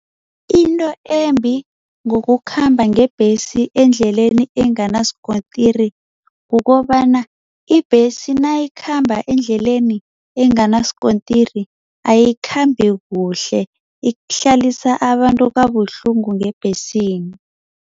Into embi ngokukhamba ngebhesi endleleni enganasikontiri kukobana ibhesi nayikhamba endleleni enganasikontiri, ayikhambi kuhle, ihlalisa abantu kabuhlungu ngebhesini.